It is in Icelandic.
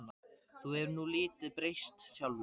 Þú hefur nú lítið breyst sjálfur.